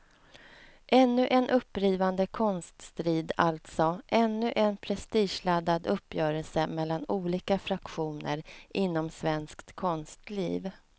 Ännu en upprivande konststrid alltså, ännu en prestigeladdad uppgörelse mellan olika fraktioner inom svenskt konstliv.